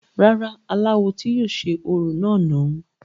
rárá, aláwo tí yóò ṣe orò náà nù u